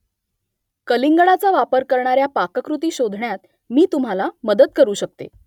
कलिंगडाचा वापर करणाऱ्या पाककृती शोधण्यात मी तुम्हाला मदत करू शकते